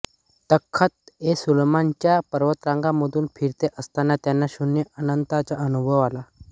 तख्तएसुलेमान च्या पर्वतरांगांमधून फिरत असताना त्यांना शून्य अनंताचा अनुभव आला